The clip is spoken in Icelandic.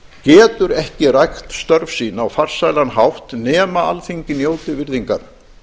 getur ekki rækt störf sín á farsælan hátt nema alþingi njóti virðingar